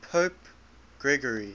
pope gregory